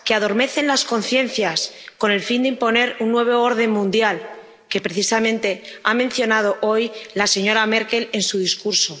que adormecen las conciencias, con el fin de imponer un nuevo orden mundial, que precisamente ha mencionado hoy la señora Merkel en su discurso.